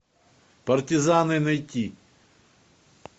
партизаны найти